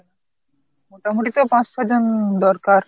মোটামুটি তো পাঁচ ছ'জন দরকার।